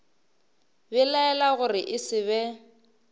belaela gore e se be